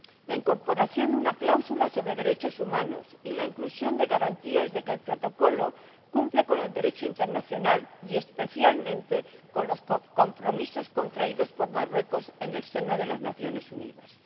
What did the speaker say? la incorporación de una cláusula sobre derechos humanos y la inclusión de garantías de que el Protocolo cumple con el Derecho internacional y, especialmente, con los compromisos contraídos por Marruecos en el seno de las Naciones Unidas.